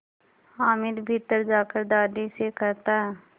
हामिद भीतर जाकर दादी से कहता